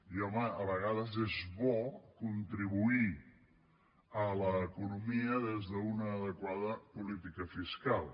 i home a vegades és bo contribuir a l’economia des d’una adequada política fiscal